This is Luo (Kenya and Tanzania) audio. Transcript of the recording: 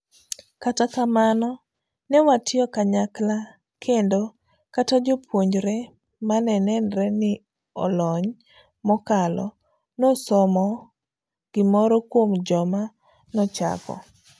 Kata kamano, newatiyo kanyaklakendo kata jopuonjre mane nenre ni olony mokalo, nosomo gimoro kuom joma nochako.